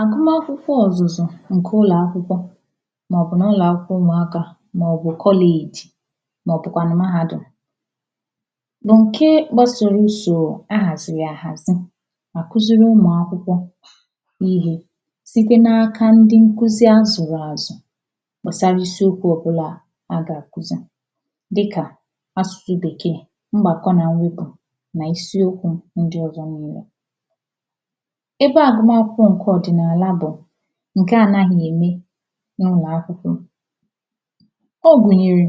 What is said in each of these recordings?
Agụma akwụkwọ̀ ọzụzụ̀ nke ụlọ̀ akwụkwọ̀ maọ̀bụ̀ n’ ụlọ̀ akwụkwọ̀ ụmụakà maọ̀bụ̀ college maọ̀bụ̀kwànụ̀ mahadum lọkee gbasọrọ uso ahaziri yà ahazì na-akuziri ụmụ̀ akwụkwọ̀ ihe site na-akà ndị nkuzì azụrazụ̀ gbasara isi okwu ọbụlà a ga-akuzì dịkà asụsụ̀ bekè ngbakọ̀ na mwepù n’isiokwù ndị ọzọ̀ nwere ebe agụma akwụkwọ̀ nke ọdịnaalà dị̀ nke anaghị̀ eme n’ụmụ akwụkwọ̀ ọ gụnyerè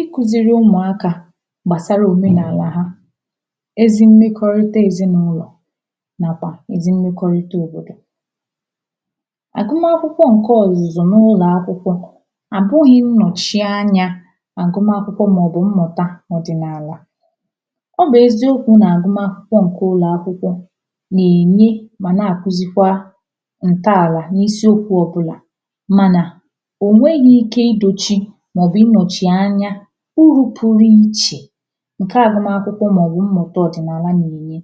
ikuziri ụmụakà gbasarà omenaalà ha ezi mmekọrịtà ezinaụlọ̀ nakwà ezi mmekọrịtà òbodò agụma akwụkwọ̀ nke ọzụzụ̀ n’ụlọ̀ akwụkwọ̀ makà oge ịnọchie anya agụma akwụkwọ̀ maọ̀bụ̀ mmụtà ọdịnaalà ọ bụ eziokwu na agụma dị̀ nke ụlọ̀ akwụkwọ̀ na-enye manà akuzikwà ntọalà n’isiokwu ọbụlà manà o nweghì ike idochi maọ̀bụ̀ inochi anya uru pụrụ ichè nke agụmà akwụkwọ̀ maọ̀bụ̀ mmụtà ọdịnaalà na-enyè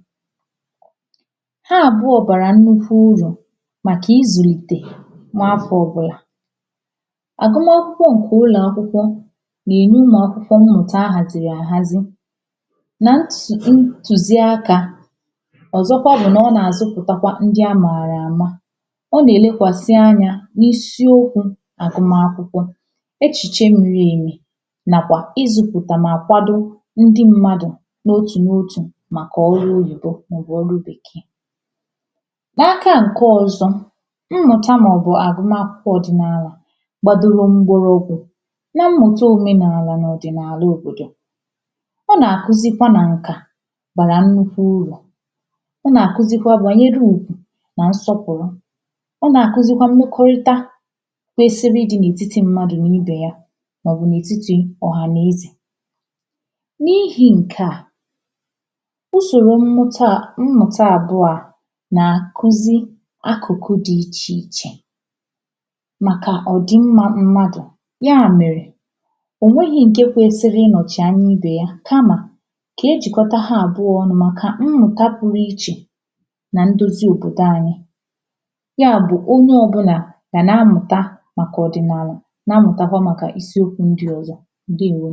ha abụọ̀ barà nnukwu urù makà izulitè n’afọ̀ ọbụlà agụmà akwụkwọ̀ nke ụlọ̀ akwụkwụ̀ na-eme ụmụ akwụkwọ̀ mmụtà ahaziri ahazì na nti, ntuziakà ọzọkwà bụ na ọ na-azụpụtakwà ndị amara amà ọ na-elekwasi anya n’isiokwù agụma akwụkwọ̀ echiche miri emì nakwà izụpụtà ma kwado ndị mmadụ̀ n’otù n;otù makà ọlụ oyibo maọ̀bụ̀ ọlụ bekè n’akà nke ọzọ̀ mmụtà maọ̀bụ̀ agụmà akwụkwọ̀ ọdịnaalà nodụrụ̀ ndoro okwù na mmụtà omenaalà na ọdịnaalà òbodò a na-akuzikwà na nkà barà nnukwu urù ọ na-akuzikwà banyere ùgwù na nsọpụrụ̀ ọ na-akuzikwà mmekorità kwesiri ịdị n’etiti mmadụ̀ na ibe yà maọ̀bụ̀ n’etiti ọhanezè n’ihi nke à usoro mmụta à mmụtà abụà na-akuzi akụkụ̀ dị iche ichè makà ọdị mma mmadụ̀ ya merè onweghì nke kwesrir inochi anya ibe yà kamà ka ejikọtà ha abụọ̀ ọnụ̀ makà mmụtà pụrụ ichè na ndozi òbodò anyị ya bụ̀ onye ọbụna ga na-amụtà makà ọdịnaalà na-amụtakwà makà isiokwù ndị ọzọ̀. Ndewò!